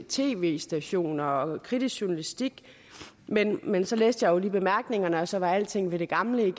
tv stationer og kritisk journalistik men men så læste jeg jo lige bemærkningerne og så var alting ved det gamle